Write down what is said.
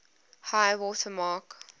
high water mark